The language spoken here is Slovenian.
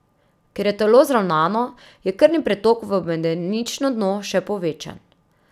Ker je telo zravnano, je krvni pretok v medenično dno še povečan.